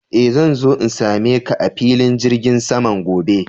Eh, zan zo in same ka a filin jirgin saman gobe.